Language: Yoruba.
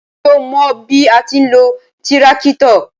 Ṣo mọ bí a ti ń lo tíráktọ̀?